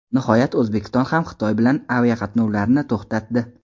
Nihoyat O‘zbekiston ham Xitoy bilan aviaqatnovlarni to‘xtatdi .